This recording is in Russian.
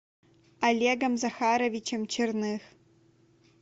олегом захаровичем черных